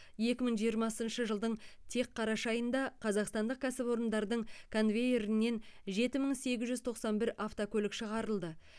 екі мың жиырмасыншы жылдың тек қараша айында қазақстандық кәсіпорындардың конвейерінен жеті мың сегіз жүз тоқсан бір автокөлік шығарылды